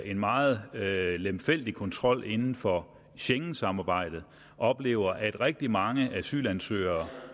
en meget lemfældig kontrol inden for schengensamarbejdet oplever at rigtig mange asylansøgere